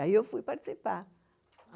Aí eu fui participar.